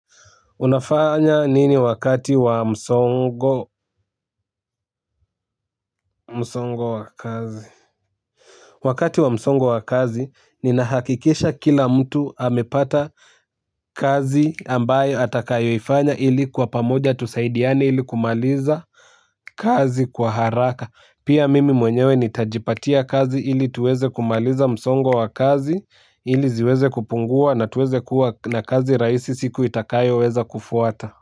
Unafanya nini wakati wa msongo? Msongo wa kazi? Wakati wa msongo wa kazi, ninahakikisha kila mtu amepata kazi ambayo atakayo ifanya ili kwa pamoja tusaidiane ili kumaliza, kazi kwa haraka. Pia mimi mwenyewe nitajipatia kazi, ili tuweze kumaliza msongo wa kazi, ili ziweze kupungua na tuweze kuwa na kazi rahisi siku itakayo weza kufuata.